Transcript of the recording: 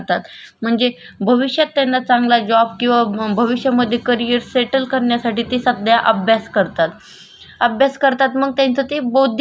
अभ्यास करतात मग त्यांचं ते बौद्धिक श्रम झालं आपण जे करतो ते शारीरिक श्रम झालं आपण आपल्या फ्यामिली साठी काम करतो. ते शारीरिक श्रम झालं.